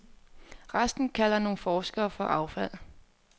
Resten kalder nogle forskere for affald.